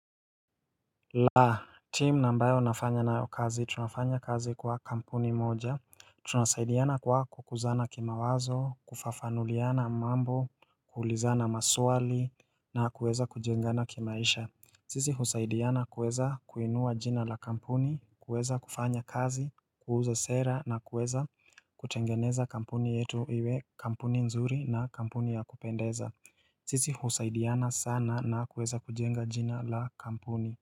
Laa, timu na ambayo nafanya nayo kazi, tunafanya kazi kwa kampuni moja Tunasaidiana kwa kukuzana kimawazo, kufafanuliana mambo, kuulizana maswali na kuweza kujengana kimaisha. Sisi husaidiana kuweza kuinua jina la kampuni, kuweza kufanya kazi, kuuza sera na kuweza kutengeneza kampuni yetu iwe kampuni nzuri na kampuni ya kupendeza Sisi husaidiana sana na kuweza kujenga jina la kampuni.